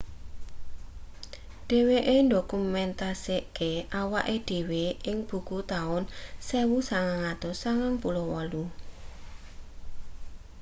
dheweke ndokumentasekake awake dhewe ing buku taun 1998